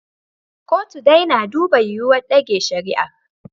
Kotun dai na duba yiwuwar ɗage shari'ar.